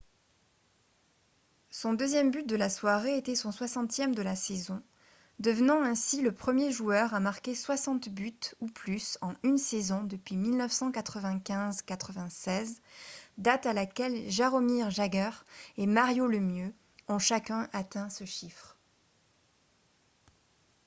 son deuxième but de la soirée était son 60e de la saison devenant ainsi le premier joueur à marquer 60 buts ou plus en une saison depuis 1995-96 date à laquelle jaromir jagr et mario lemieux ont chacun atteint ce chiffre